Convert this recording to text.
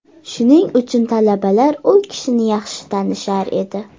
Shuning uchun talabalar u kishini yaxshi tanishar edi.